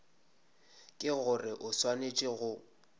ke gore o swanetše go